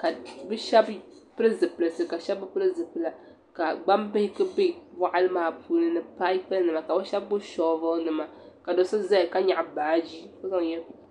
ka bi shɛba pili zipilisi ka shɛba bi pili zipila ka gbaŋ bihi ku bɛ bɔɣili maa puuni ni paipu nima ka bi shɛba gbubi shɔvili nima ka so so zaya ka yaɣi baaji.